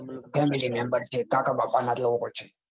હા family member છે કાકા બાપા ના